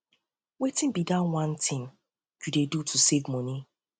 wetin be di one thing um you dey do to save um money